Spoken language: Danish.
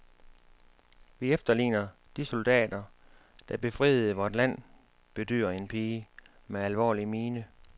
Vi efterligner de soldater, der befriede vort land, bedyrer en pige med alvorlig mine.